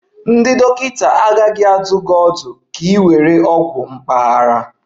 Ndị dọkịta agaghị adụ gị ọdụ ka ị were ogwu mpaghara